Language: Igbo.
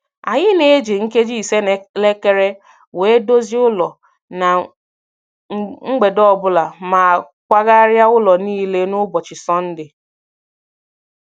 Anyị na - eji nkeji ise n'elekere wee dozie ụlọ na mgbede ọbụla ma kwagharia ụlọ niile n'ụbọchị Sọnde